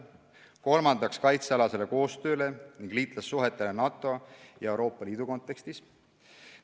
Kolmandaks, kaitsealasele koostööle ning liitlassuhetele NATO ja Euroopa Liidu kontekstis.